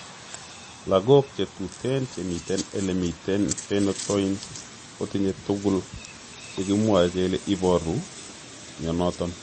Logok che tute che miten ele miten phenytoin kotinye tugul che kimwoe kele iporu mionoton.